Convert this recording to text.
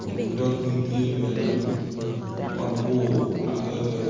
kun dogi tye bene mabor adada